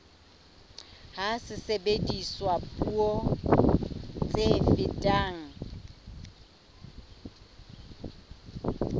ha sebediswa puo tse fetang